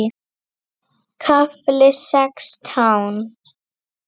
KAFLI SEXTÁN